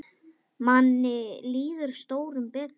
Manni líður stórum betur.